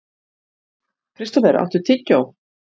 Kristófer, áttu tyggjó?